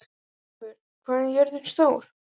Eivör, hvað er jörðin stór?